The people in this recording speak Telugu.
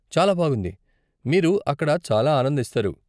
చాలా బాగుంది, మీరు అక్కడ చాలా ఆనందిస్తారు.